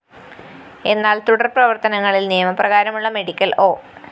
എന്നാല്‍ തുടര്‍ പ്രവര്‍ത്തനങ്ങളില്‍ നിയമപ്രകാരമുള്ള മെഡിക്കൽ ഒ